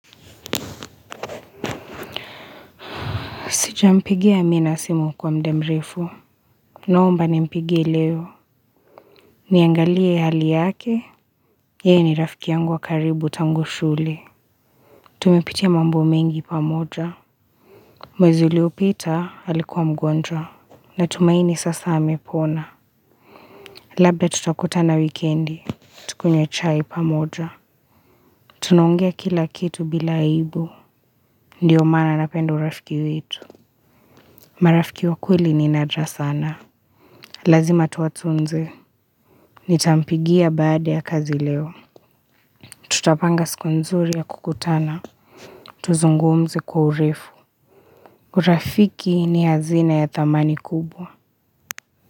Sijampigia amina simu kwa mudamrefu. Naomba ni mpigie leo. Niangalie hali yake. Yeye ni rafiki yangu wa karibu tangu shule. Tumepitia mambo mengi pamoja. Mwezi uliyopita alikuwa mgonjwa na tumaini sasa amepona. Labda tutakuta na wikendi. Tukunywe chai pamoja. Tunaongea kila kitu bila aibu. Ndiyo maana napenda urafiki wetu. Marafiki wa kweli ni nadra sana. Lazima tuwatunze. Nitampigia baada ya kazi leo Tutapanga siku nzuri ya kukutana Tuzungumze kwa urefu urafiki ni hazina ya thamani kubwa.